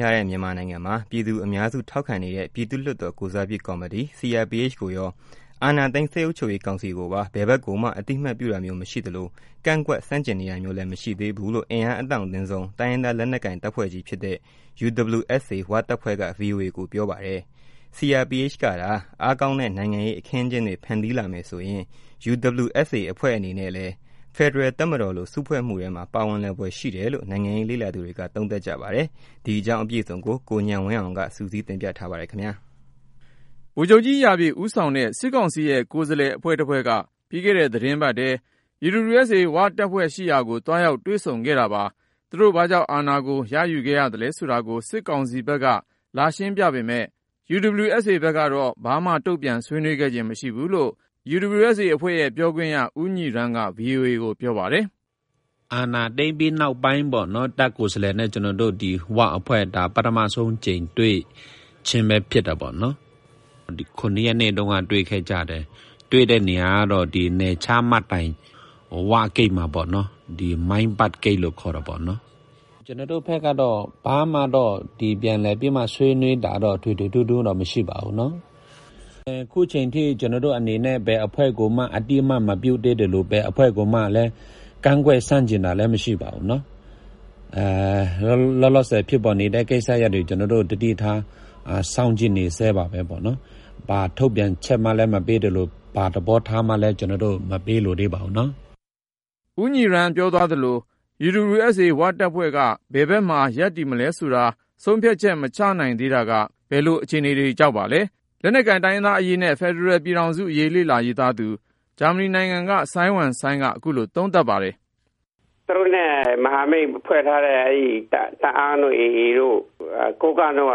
ထားတဲ့ မြန်မာနိုင်ငံမှာ ပြည်သူအများစု ထောက်ခံနေတဲ့ ပြည်သူ့လွှတ်တော် ကိုယ်စားပြုကော်မတီ CRPH ကိုရော ၊ အာဏာသိမ်း စစ်အုပ်ချုပ်ရေးကောင်စီကိုပါ ဘယ်ဖက်ကိုမှ အသိအမှတ်ပြုတာမျိုး မရှိသလို၊ ကန့်ကွက် ဆန့်ကျင်နေတာမျိုးလည်း မရှိသေး ဘူးလို့ အင်အားအတောင့်တင်းဆုံး တိုင်းရင်းသားလက်နက်ကိုင် တပ်ဖွဲ့ကြီးဖြစ်တဲ့ UWSA ဝ-တပ်ဖွဲ့က VOA ကိုပြောပါတယ်။ CRPH ကသာ အားကောင်းတဲ့ နိုင်ငံရေးအခင်းအကျင်းတွေ ဖန်တီးလာမယ်ဆိုရင် UWSA တပ်ဖွဲ့ကလည်း ဖက်ဒရယ်တပ်မတော်လို စုဖွဲ့မှုထဲမှာ ပါဝင်လာဖွယ်ရှိတယ်လို့ နိုင်ငံရေးလေ့လာသူတွေက သုံးသပ်ပါတယ်။ ဒီအကြောင်း ကိုဉာဏ်ဝင်းအောင်က စုစည်းတင်ပြထားပါတယ်။ ဗိုလ်ချုပ်ကြီး ရာပြည့် ဦးဆောင်တဲ့ စစ်ကောင်စီရဲ့ ကိုယ်စားလှယ်အဖွဲ့တဖွဲ့က ပြီးခဲ့တဲ့ သီတင်းပတ်ထဲ UWSA ဝ-တပ်ဖွဲ့ကို သွားရောက် တွေ့ဆုံ ဆွေးနွေးခဲ့တာပါ။ သူတို့ဘာကြောင့် အာဏာကို ရယူခဲ့ရသလဲဆိုတာကို စစ်ကောင်စီဖက်က လာရှင်းပြပေမယ့် UWSA ဖက်ကတော့ ဘာမှ တုန့်ပြန်ဆွေးနွေးခဲ့ခြင်း မရှိဘူးလို့ UWSA ပြောခွင့်ရ ဦးညီရမ်းက VOA ကို ပြောပါတယ်။ “အာဏာသိမ်းပြီးနောက်ပိုင်းပေါ့နော် ၊ တပ်ကိုယ်စားလှယ်နဲ့ ကျနော်တို့ UWSA ၀ အဖွဲ့ ပထမဦးဆုံးအကြိမ် တွေ့ကြခြင်းပဲ ဖြစ်တယ်ပေါ့နော်။ ဧပြီ ၇ ရက်နေ့က တွေ့ခဲ့ကြတယ်၊ တွေ့တဲ့နေရာကတော့ နယ်ခြားမှတ်တိုင် ၀ ဂိတ်မှာပေါ့နော်၊ မိုင်းဘတ် ဂိတ်လို့ခေါ်တယ်။ ကျနော်တို့ဘက်ကတော့ ဘာမှတော့ ပြန်လည်ပြီးမှ ဆွေးနွေးတာတော့ ထွေထွေထူးထူးတော့ မရှိပါဘူး ၊ အခုအချိန်အထိ ကျနော်တို့အနေနဲ့ ဘယ်အဖွဲ့ကိုမှ အသိအမှတ်မပြုသေးသလို ၊ ဘယ်အဖွဲ့ကိုမှလည်း ကန့်ကွက်ဆန့်ကျင်တာလည်း မရှိပါဘူး။ လောလောဆည် ဖြစ်ပေါ်နေတဲ့ ကိစ္စရပ်တွေကို ကျနော်တို့ သတိထားစောင့်ကြည့်နေဆဲပါပဲ။ ဘာထုတ်ပြန်ချက်မှလည်း မပေးသလို၊ ဘာ သဘောထားမှလည်း ကျနော်တို့ မပေးလိုသေးပါဘူးနော်။” ဦညီရမ်းပြောသွားသလို UWSA ဝ-တပ်ဖွဲ့က ဘယ်ဖက်မှာ ရပ်တည်မလဲဆိုတာကို ဆုံးဖြတ်ချက် မချနိုင်သေးတာက ဘယ်လို အခြေအနေ ကြောင့်ပါလဲ။ လက်နက်ကိုင် တိုင်းရင်းသားအရေးနဲ့ ဖက်ဒရယ်ပြည်ထောင်စုအရေး လေ့လာရေးသားသူ ဂျာမနီနိုင်ငံက စိုင်းဝမ်စိုင်းက ခုလို သုံးသပ်ပါတယ်။ “သူတို့နဲ့ မဟာမိတ်ဖွဲ့ထားတဲ့ TNLA တအာင်းတို့ ၊ AA တို့ ၊ ကိုးကန့်တို့က